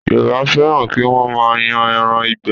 Yorùbá fẹ́ràn kí wọ́n máa yan ẹran ìgbẹ́